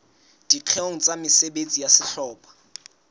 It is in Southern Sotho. dikgeong tsa mesebetsi ya sehlopha